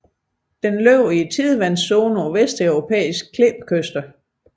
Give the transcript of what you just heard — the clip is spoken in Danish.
Den lever i tidevandszonen på vesteuropæiske klippekyster